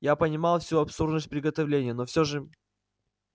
я понимал всю абсурдность приготовлений но всё же